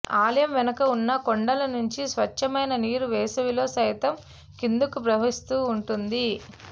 ఆలయం వెనుక ఉన్న కొండల నుంచి స్వచ్ఛమైన నీరు వేసవిలో సైతం కిందకు ప్రవహిస్తూ ఉంటుంది